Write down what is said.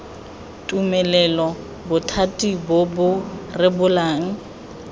tumelelo bothati bo bo rebolang